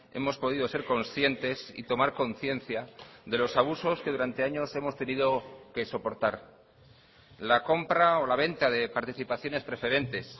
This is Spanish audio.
hemos podido ser conscientes y tomar conciencia de los abusos que durante años hemos tenido que soportar la compra o la venta de participaciones preferentes